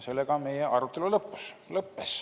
Sellega meie arutelu lõppes.